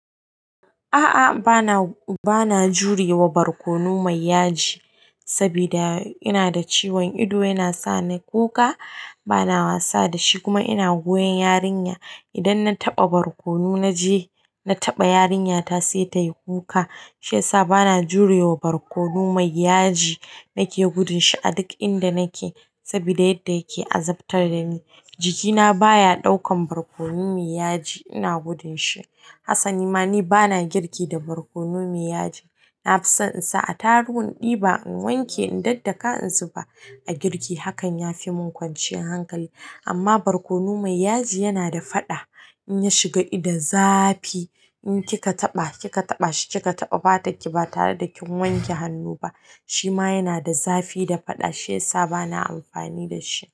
A'a, bana jurewa barkono mai yaji, saboda ina da ciwon ido yana sa ni kuka. Bana wasa da shi kuma ina goyon yarinya. Idan na taɓa barkono, na je na taɓa yarinyata sai ta yi kuka. Shi ya sa bana jurawa barkono mai yaji. Nake gudun shi a duk inda nake saboda yadda yake azabtar da ni. Jikina baya ɗaukan barkono mai yaji, ina gudun shi. Hassali ma ni bana girki da barkono mai yaji. Na fi son in sa a taruwan diba, in wanke, in daddaka in zuba a girki. Hakan ya fi mun kwanciyar hankali. Amma barkono mai yaji yana da faɗa in ya shiga ido, zafi. In kikataɓa, kikataɓa shi kikataɓa, bata ki ba tare da kin wanke hannu ba. Shi ma yana da zafi da faɗa, shiyasa bana amfani da shi.